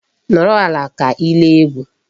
Nọrọ ala ka ị lee egwu.